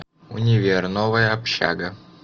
универ новая общага